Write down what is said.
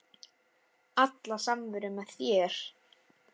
Alla samveru með þér.